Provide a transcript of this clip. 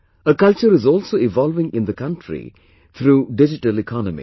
A culture is also evolving in the country throughS Digital Economy